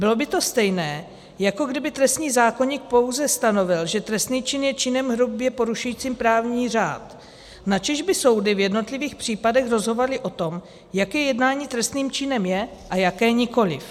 Bylo by to stejné, jako kdyby trestní zákoník pouze stanovil, že trestný čin je činem hrubě porušujícím právní řád, načež by soudy v jednotlivých případech rozhodovaly o tom, jaké jednání trestným činem je a jaké nikoliv.